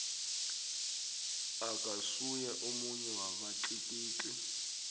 akasuye omunye wabatlikitli